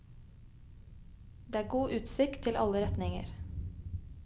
Det er god utsikt til alle retninger.